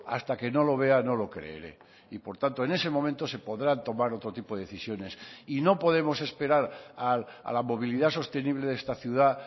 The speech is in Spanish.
hasta que no lo vea no lo creeré y por tanto en ese momento se podrán tomar otro tipo de decisiones y no podemos esperar a la movilidad sostenible de esta ciudad